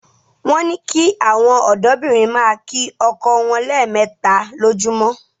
Wọ́n ní kí àwọn ọ̀dọ́bìnrin máa kí ọkọ wọn lẹ́ẹ̀mẹta lójoojúmọ́